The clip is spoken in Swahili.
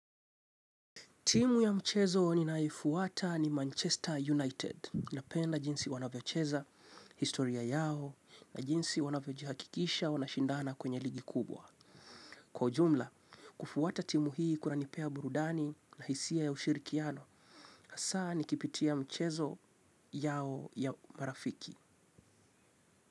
Timu ya mchezo ninaifuata ni Manchester United napenda jinsi wanavyocheza, historia yao na jinsi wanavyojihakikisha wanashindana kwenye ligi kubwa. Kwa ujumla, kufuata timu hii kunanipea burudani na hisia ya ushirikiano na saa nikipitia mchezo yao ya marafiki.